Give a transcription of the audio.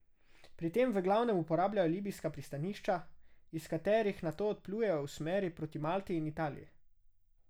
Pri tem v glavnem uporabljajo libijska pristanišča, iz katerih nato odplujejo v smeri proti Malti in Italiji.